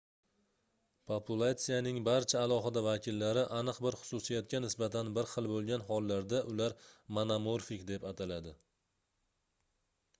populatsiyaning barcha alohida vakillari aniq bir xususiyatga nisbatan bir xil boʻlgan hollarda ular monomorfik deb ataladi